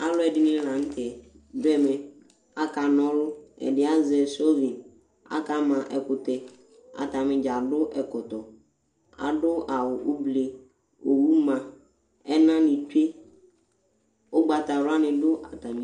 ALu ɛdini latɛ du ɛmɛ ka ka nɔlu ɛdi azɛ sovi akama ɛkutɛ atanidza du ɛkɔtɔ adu awu ublé owu ma ɛna ni tsué ugbata wla ni du atami du